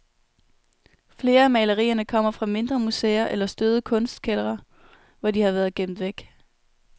Flere af malerierne kommer fra mindre museer eller støvede kunsttkældre, hvor de har været gemt væk.